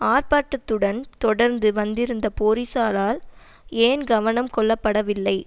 ஆர்ப்பாட்டத்துடன் தொடர்ந்து வந்திருந்த போலீசாரால் ஏன் கவனம் கொள்ளப்படவில்லை